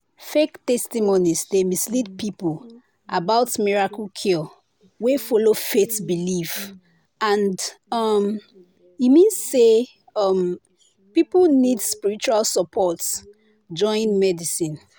“fake testimonies dey mislead people about miracle cure wey follow faith belief and um e mean say um people need spiritual support join medicine.